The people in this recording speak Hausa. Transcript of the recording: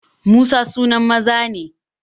Musa sunan maza ne